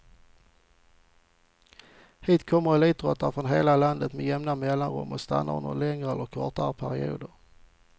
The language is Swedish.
Hit kommer elitidrottare från hela landet med jämna mellanrum och stannar under längre eller kortare perioder.